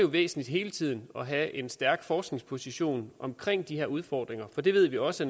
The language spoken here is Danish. væsentligt hele tiden at have en stærk forskningsposition omkring de her udfordringer for det ved vi også